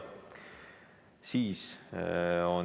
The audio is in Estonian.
Soovi ei paista.